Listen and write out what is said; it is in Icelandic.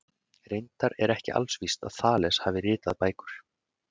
Reyndar er alls ekki víst að Þales hafi ritað bækur.